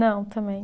Não, também.